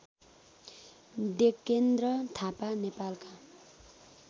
डेकेन्द्र थापा नेपालका